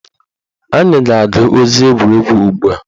Anyị ga-agụ ozi egwuregwu ugbua